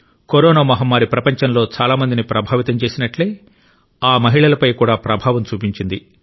corona మహమ్మారి ప్రపంచంలో చాలా మందిని ప్రభావితం చేసినట్లే ఈ మహిళలపై కూడా ప్రభావం చూపించింది